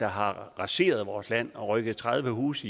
har raseret vores land og rykket tredive huse